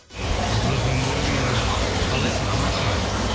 зофемдерім менің қалайсың амансың ба